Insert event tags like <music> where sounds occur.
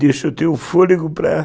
<cries> Deixa eu ter um fôlego para